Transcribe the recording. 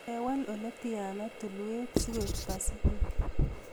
Kewaal oletyana tulwet sikoek pasifik